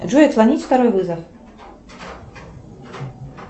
джой отклонить второй вызов